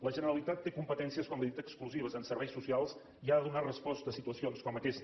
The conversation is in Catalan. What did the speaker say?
la generalitat té competències com li he dit exclusives en serveis socials i ha de donar resposta a situacions com aquesta